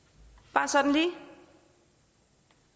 bare sådan lige